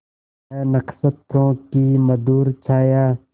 वह नक्षत्रों की मधुर छाया